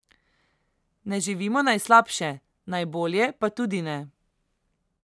Ne živimo najslabše, najbolje pa tudi ne.